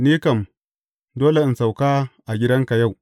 Ni kam, dole in sauka a gidanka yau.